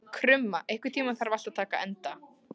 Krumma, einhvern tímann þarf allt að taka enda.